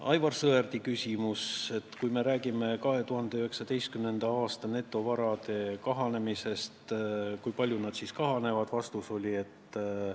Aivar Sõerdi küsimus: kui me räägime 2019. aasta netovarade kahanemisest, siis kui palju need kahanevad?